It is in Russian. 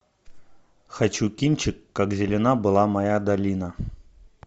хочу кинчик как зелена была моя долина